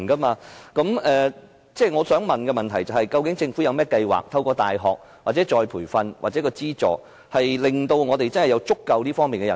我的補充質詢是，究竟政府有甚麼計劃，例如透過大學課程、再培訓計劃或資助方式，令香港有足夠的金融科技人才？